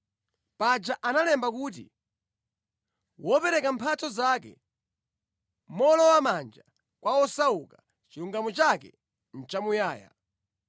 Paja analemba kuti, “Wopereka mphatso zake mowolowamanja kwa osauka, chilungamo chake chimanka mpaka muyaya.”